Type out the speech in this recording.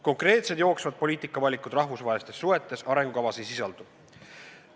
Konkreetsed jooksvad poliitikavalikud rahvusvahelistes suhetes arengukavas ei sisaldu.